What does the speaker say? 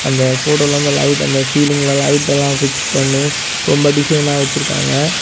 அந்த போட்டோல அந்த லைட் அந்த சீலிங்ல லைட் எல்லா பிக்ஸ் பண்ணி ரொம்ப டிசைனா வச்சிருக்காங்க.